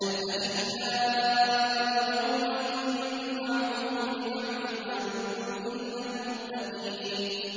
الْأَخِلَّاءُ يَوْمَئِذٍ بَعْضُهُمْ لِبَعْضٍ عَدُوٌّ إِلَّا الْمُتَّقِينَ